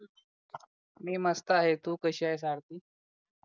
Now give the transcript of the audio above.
मी मस्त आहे तू कशी आहेस आरती